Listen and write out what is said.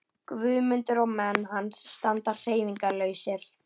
Guðmundur og menn hans standa hreyfingarlausir.